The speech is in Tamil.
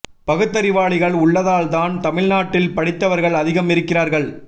பகுத்தறிவாளிகள் உள்ள தாள் தான் தமிழ் நாட்டில் படித்தவர்கள் அதிகம் இருக்கிறார்கள்